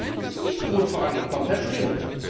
In einigen ist es nicht so gut vorangekommen, das stimmt.